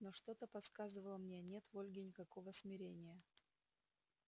но что-то подсказывало мне нет в ольге никакого смирения